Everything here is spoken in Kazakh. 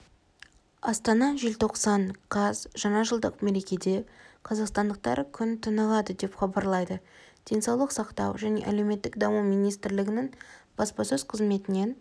астана желтоқсан қаз жаңа жылдық мерекеде қазақстандықтар күн тынығады деп хабарлады денсаулық сақтау және әлеуметтік даму министрлігінің баспасөз қызметінен